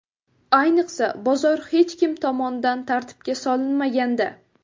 Ayniqsa, bozor hech kim tomonidan tartibga solinmaganda.